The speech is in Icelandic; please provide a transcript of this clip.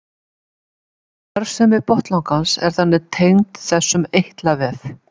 Starfsemi botnlangans er þannig tengd þessum eitlavef.